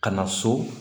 Ka na so